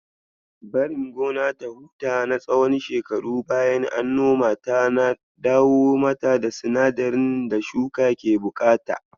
Barin gona ta huta na tsawon shekaru bayan an nomata na dawo mata da sinadiran da shuka ke buƙata.